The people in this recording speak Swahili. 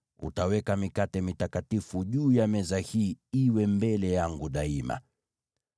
Utaweka mikate ya Wonyesho juu ya meza hii iwe mbele yangu daima.